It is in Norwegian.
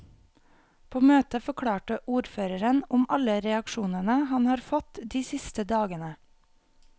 På møtet forklarte ordføreren om alle reaksjonene han har fått de siste dagene.